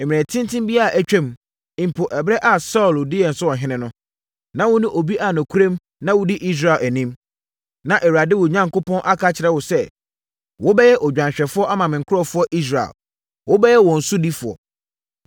Mmerɛ tenten bi a atwam, mpo ɛberɛ a Saulo di yɛn so ɔhene no, na wone obi a nokorɛm na wodi Israel anim. Na Awurade, wo Onyankopɔn, aka kyerɛ wo sɛ, ‘Wobɛyɛ odwanhwɛfoɔ ama me nkurɔfoɔ Israel. Wobɛyɛ wɔn sodifoɔ.’ ”